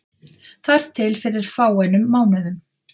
Þar til fyrir fáeinum mánuðum.